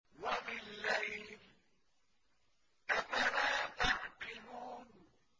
وَبِاللَّيْلِ ۗ أَفَلَا تَعْقِلُونَ